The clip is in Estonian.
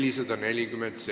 Istung on lõppenud.